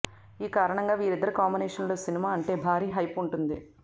ఈ కారణంగా వీరిద్దరి కాంబినేషన్ లో సినిమా అంటే భారీ హైప్ ఉంటుంది